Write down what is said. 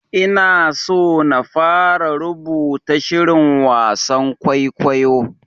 Ina so na fara rubuta shirin wasan kwaikwayo.